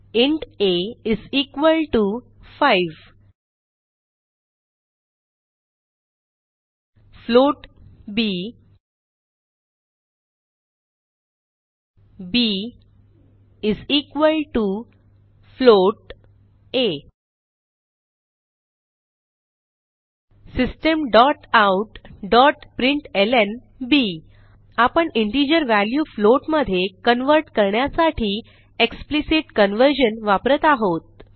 int a 5 float b b a systemoutप्रिंटलं आपण integer value float मधे कन्व्हर्ट करण्यासाठी एक्सप्लिसिट कन्व्हर्जन वापरत आहोत